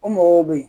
O mɔgɔw bɛ yen